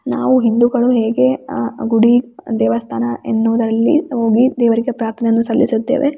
ನಾವು ಹಿಂದುಗಳು ಹೇಗೆ ಅ ಗುಡಿ ದೇವಸ್ಥಾನ ಎನ್ನುವುದರಲ್ಲಿ ಹೋಗಿ ದೇವರಿಗೆ ಪ್ರಾರ್ಥನೆಯನ್ನು ಸಲ್ಲಿಸುತ್ತೇವೆ.